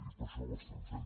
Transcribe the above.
i per això ho estem fent